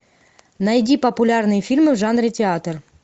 найди популярные фильмы в жанре театр